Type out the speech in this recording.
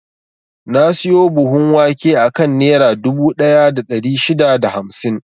Na siyo buhun wake akan Nera dubu ɗaya da ɗari shida da hamsin.